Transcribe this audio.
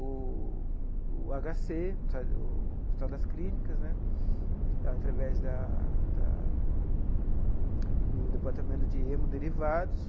O o agá cê, o Hospital das Clínicas né, através da da do Departamento de Hemoderivados,